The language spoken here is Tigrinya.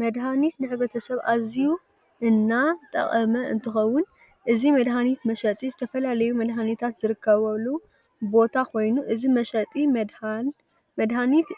መድሃኒት ንሕ/ሰብ ኣዝዩ እና ጠቅሚ እንትከውን እዚ መድሃኒት መሽጢ ዝተፈላለዩ መድሃኒታት ዝርከበሉ ቦታ ኮይኑ እዚ መሽጢ መድሃን